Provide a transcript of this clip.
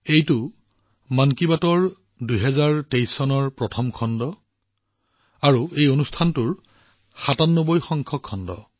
এয়া হৈছে ২০২৩ চনৰ প্ৰথমটো মন কী বাত আৰু ইয়াৰ লগতে এই কাৰ্যসূচীটোৰ সাতানব্বৈটা খণ্ড